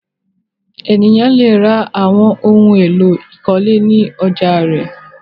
Ènìyàn le ra àwọn ohun-èlò ìkọ́lé ní ọjà rẹ̀.